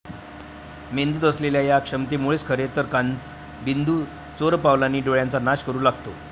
मेंदूत असलेल्या या क्षमतेमुळेच खरे तर काचबिंदू चोरपावलांनी डोळ्याचा नाश करू लागतो.